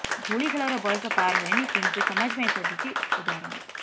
ଧୁଳିଖେଳର ବୟସ ପାର ହୋଇନି କିନ୍ତୁ ସମାଜ ପାଇଁ ସଜିଛି ଉଦାହରଣ